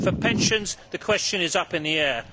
For pensions, the question is up in the air.